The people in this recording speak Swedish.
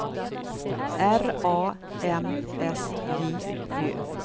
R A M S J Ö